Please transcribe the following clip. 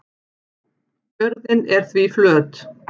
jörðin er því flöt